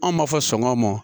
An b'a fɔ sɔngɔ ma